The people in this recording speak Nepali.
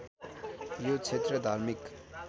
यो क्षेत्र धार्मिक